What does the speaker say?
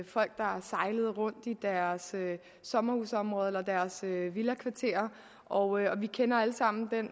folk der sejlede rundt i deres sommerhusområder eller deres villakvarterer og vi kender alle sammen den